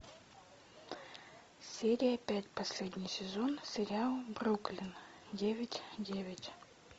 серия пять последний сезон сериал бруклин девять девять